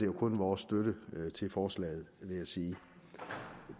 kun vores støtte til forslaget vil jeg sige